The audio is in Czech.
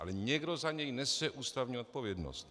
Ale někdo za něj nese ústavní odpovědnost.